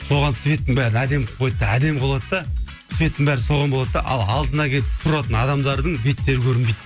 соған светтің бәрін әдемі қылып қояды да әдемі болады да светтің бәрі соған болады да ал алдына келіп тұратын адамдардың беттері көрінбейді